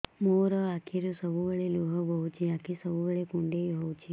ମୋର ଆଖିରୁ ସବୁବେଳେ ଲୁହ ବୋହୁଛି ଆଖି ସବୁବେଳେ କୁଣ୍ଡେଇ ହଉଚି